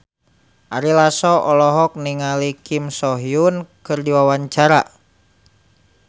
Ari Lasso olohok ningali Kim So Hyun keur diwawancara